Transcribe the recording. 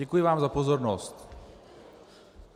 Děkuji vám za pozornost.